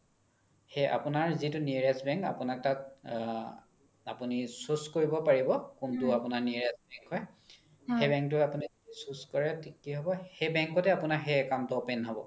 সেই আপোনাৰ যিতো nearest bank আপোনাক তাত আ আপোনি choose কৰিব পাৰিব কুন্তু আপোনাৰ nearest bank হয় সেই bank তো আপোনি choose কৰে তেতিয়া কি হ্'ব সেই bank তে সেই account তো open হ্'ব